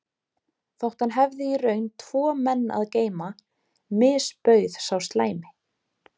Þótt hann hefði í raun tvo menn að geyma misbauð sá slæmi